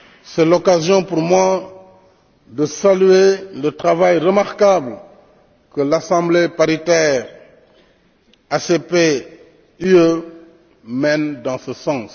C'est l'occasion, pour moi, de saluer le travail remarquable que l'Assemblée paritaire ACP UE mène dans ce sens.